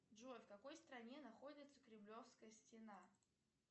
джой в какой стране находится кремлевская стена